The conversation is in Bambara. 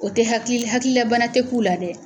O te haki hakilila bana te k'u la dɛ